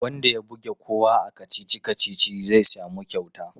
Wanda ya buge kowa a kacici-kacici zai sami kyauta.